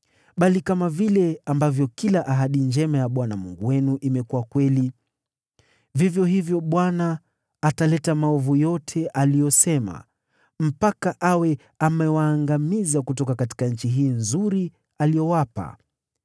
Lakini kama vile kila ahadi njema ya Bwana Mungu wenu imekuwa kweli, vivyo hivyo Bwana ataleta maovu yote kama alivyo onya, mpaka awe amewaangamiza kutoka nchi hii nzuri aliyowapa.